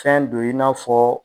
Fɛn don i n'a fɔ.